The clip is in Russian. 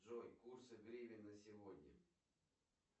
джой курсы гривен на сегодня